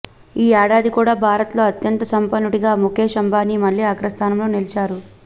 ఈ ఏడాది కూడా భారత్లో అత్యంత సంపన్నుడిగా ముకేష్ అంబానీ మళ్లీ అగ్రస్థానంలో నిలిచారు